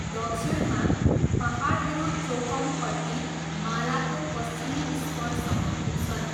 दक्षिणमा, पाहाडहरू चोक्कमपट्टी मालाको पश्चिमी स्परसम्म पुग्छन्।